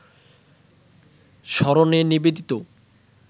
স্মরণে নিবেদিত